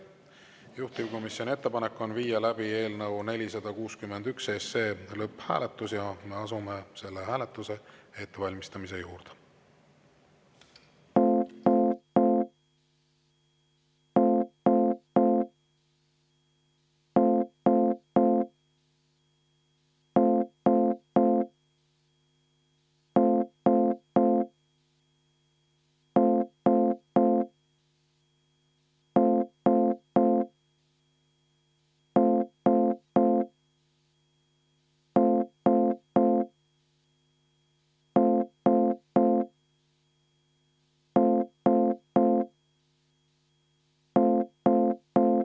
Juhtivkomisjoni ettepanek on viia läbi eelnõu 461 lõpphääletus ja me asume selle hääletuse ettevalmistamise juurde.